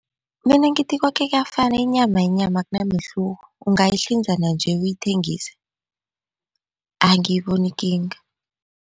Mina ngithi koke kuyafana inyama yinyama akunamehluko ungayihlanza nanje uyithengise angiyiboni ikinga.